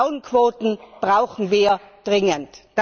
Frauenquoten brauchen wir dringend!